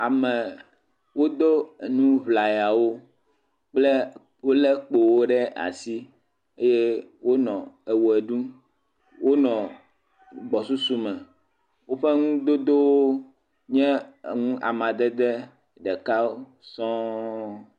Ame wodo enu ŋlayawo kple wole kpowo ɖe asi eye wonɔ eʋe ɖum eye wonɔ gbɔsusu me. Woƒe enudodowo nye enu amadede ɖeka sɔɔ.